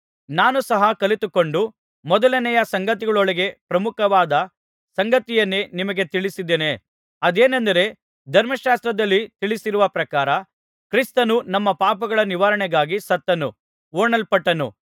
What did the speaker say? ನಾನು ಸಹ ಕಲಿತುಕೊಂಡ ಮೊದಲನೆಯ ಸಂಗತಿಗಳೊಳಗೆ ಪ್ರಮುಖವಾದ ಸಂಗತಿಯನ್ನೇ ನಿಮಗೆ ತಿಳಿಸಿದ್ದೇನೆ ಅದೇನೆಂದರೆ ಧರ್ಮಶಾಸ್ತ್ರದಲ್ಲಿ ತಿಳಿಸಿರುವ ಪ್ರಕಾರ ಕ್ರಿಸ್ತನು ನಮ್ಮ ಪಾಪಗಳ ನಿವಾರಣೆಗಾಗಿ ಸತ್ತನು ಹೂಣಲ್ಪಟ್ಟನು